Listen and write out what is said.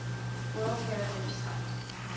world heritage site